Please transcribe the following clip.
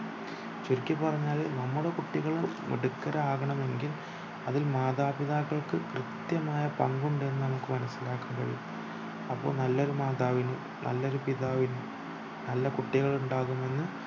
ചുരുക്കി പറഞ്ഞാൽ നമ്മുടെ കുട്ടികൾ മിടുക്കരാവണമെങ്കിൽ അതിൽ മാതാപിതാക്കൾക്ക് കൃത്യമായ പങ്കുണ്ടെന്നു നമുക് മനസിലാക്കാൻ കഴിയും അപ്പൊ നല്ലൊരു മാതാവിന് നല്ലൊരു പിതാവിന് നല്ല കുട്ടികളുണ്ടാകുമെന്ന്